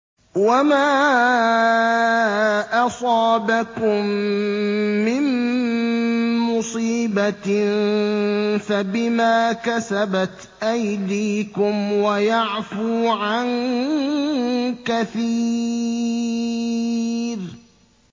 وَمَا أَصَابَكُم مِّن مُّصِيبَةٍ فَبِمَا كَسَبَتْ أَيْدِيكُمْ وَيَعْفُو عَن كَثِيرٍ